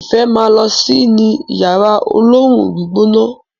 ifẹ má ló si ní Yàrá olóoru-gbígbóná.